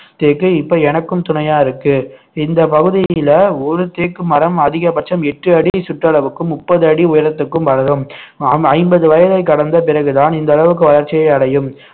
தேக்கு இப்போ எனக்கும் துணையா இருக்கு இந்த பகுதியில ஒரு தேக்கு மரம் அதிகபட்சம் எட்டு அடி சுற்றளவுக்கும் முப்பது அடி உயரத்திற்கும் வளரும் ஹம் ஐம்பது வயதை கடந்த பிறகுதான் இந்த அளவுக்கு வளர்ச்சியை அடையும்